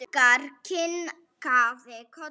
Ragnar kinkaði kolli.